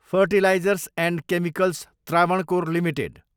fertilizers and chemicals Travancore limited